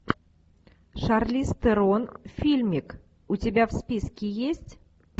шарлиз терон фильмик у тебя в списке есть